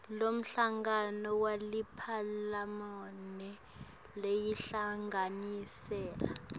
lomhlangano weliphalamende loyinhlanganisela